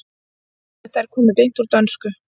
Þetta er komið beint úr dönsku.